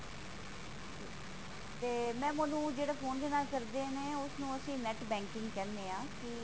ਤੇ mam ਉਹਨੂੰ ਜਿਹੜਾ phone ਦੇ ਨਾਲ ਕਰਦੇ ਨੇ ਉਸਨੂੰ ਅਸੀਂ net banking ਕਹਿੰਦੇ ਹਾਂ ਕਿ